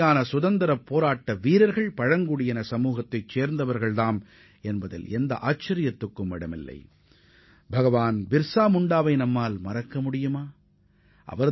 நமது சுதந்திரப் போராட்ட வீரர்களில் முன்னணி வீரர்களாக திகழ்ந்த பலர் பழங்குடி சமுதாயதைச் சேர்ந்தவர்கள் என்பதில் வியப்பேதும் இல்லை